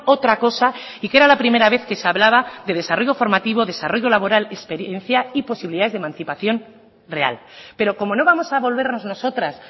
otra cosa y que era la primera vez que se hablaba de desarrollo formativo desarrollo laboral experiencia y posibilidades de emancipación real pero como no vamos a volvernos nosotras